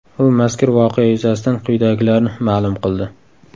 U mazkur voqea yuzasidan quyidagilarni ma’lum qildi .